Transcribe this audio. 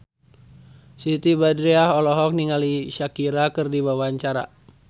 Siti Badriah olohok ningali Shakira keur diwawancara